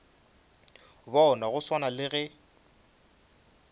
bona go swana le ge